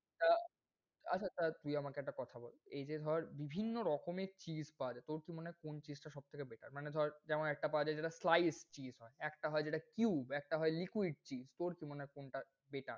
আহ আচ্ছা তা তুই আমাকে একটা কথা বল, এই যে ধর বিভিন্ন রকমের cheese পাওয়া যায়, তোর কী মনে হয় কোন cheese টা সবথেকে better? মানে ধর যেমন একটা পাওয়া যায় যেটা slice cheese হয়, একটা হয় যেটা cube, একটা হয় যে liquid cheese । তোর কী মনে হয় কোনটা better?